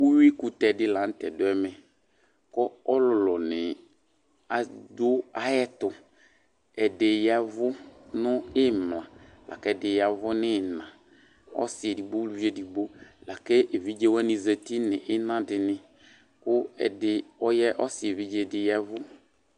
Uyuikʋtɛ dɩ la nʋ tɛ dʋ ɛvɛ, kʋ ɔlʋlʋnɩ adʋ ayɛtʋ. Ɛdɩ ya ɛvʋ nʋ ɩmla la kʋ ɛdɩ ya ɛvʋ nʋ ɩɣɩna. Ɔsɩ edigbo uluvi edigbo la kʋ evidze wanɩ zati nʋ ɩna dɩnɩ kʋ ɛdɩ ɔya, ɔsɩ evidze dɩ ya ɛvʋ.